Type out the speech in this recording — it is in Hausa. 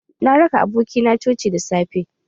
Na raka aboki na coci da safe.